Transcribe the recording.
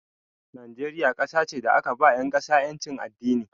Najeriya kasa ce da aka ba 'yan ƙasa 'yancin addini.